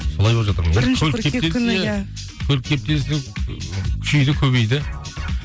көлік кептелісі ііі күшейді көбейді